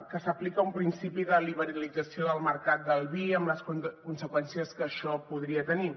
que s’aplica un principi de liberalització del mercat del vi amb les conseqüències que això podria tenir